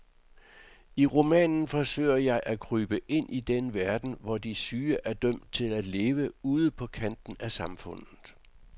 I romanen forsøger jeg at krybe ind i den verden, hvor de syge er dømt til at leve ude på kanten af samfundet.